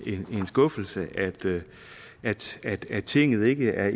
skuffelse at til tinget ikke er